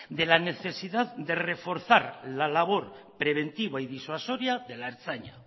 de la necesidad de reforzar la labor preventiva y disuasoria de la ertzaina